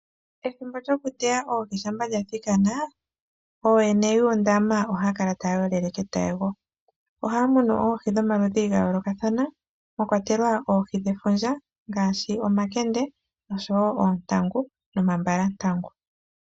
Ethimbo lyokuteya oohi shampa lyathikana. Ooyene yuundama ohaya kala taya yolele ketayego. Ohaya mono oohi dhomaludhi ga yoolokathana, mwa kwatelwa oohi dhefundja, ngaashi omakende, oontangu, nomambalantangu.